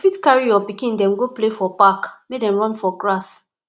you fit carry your pikin dem go play for park make dem run for grass